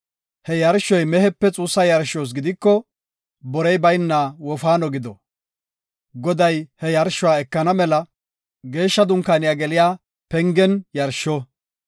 He yarshoy mehepe xuussa yarshos gidiko borey bayna wofaano gido. Goday he yarshuwa ekana mela Geeshsha Dunkaaniya geliya pengen yarsho.